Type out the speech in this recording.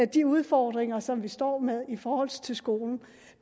de udfordringer som vi står med i forhold til skolen